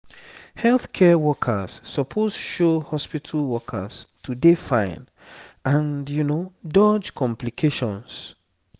healthcare workers suppose show hospital workers to dey fine and dodge complications